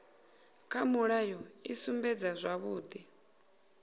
kha mulayo i sumbedza zwavhudi